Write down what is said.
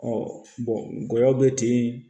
Ɔ be ten